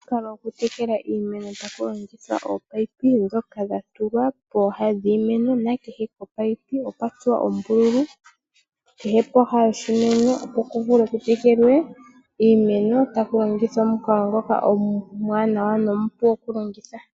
Omukalo gokutekela iimeno tolongitha ominino ndhoka dhatulwa pooha dhiimeno. Ominino odha tsuwa oombuthulu kehe pooha dhoshimeno opo dhi vule okutekela iimeno taku longithwa omukalo ngoka omuwanawa nomupu okulongitha.